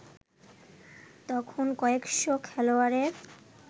তখন কয়েকশ’ খেলোয়াড়ের